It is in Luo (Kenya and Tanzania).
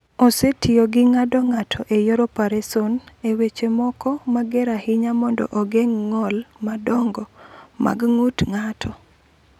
"Osetiyogo gi ng’ado ng’ato e yor opereson e weche moko mager ahinya mondo ogeng’ ng’ol madongo mag ng’ut ng’ato."